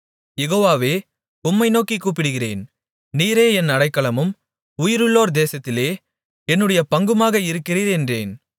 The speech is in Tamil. யெகோவாவே உம்மை நோக்கிக் கூப்பிடுகிறேன் நீரே என் அடைக்கலமும் உயிருள்ளோர் தேசத்திலே என்னுடைய பங்குமாக இருக்கிறீர் என்றேன்